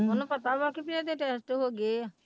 ਉਹਨੂੰ ਪਤਾ ਵਾ ਕਿ ਵੀ ਇਹਦੇ test ਹੋ ਗਏ ਹੈ।